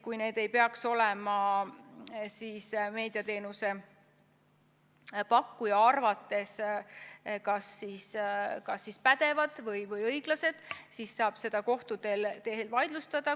Kui need ei peaks olema meediateenuse pakkuja arvates kas pädevad või õiglased, siis saab neid kohtus vaidlustada.